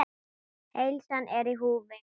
Heilsan er í húfi.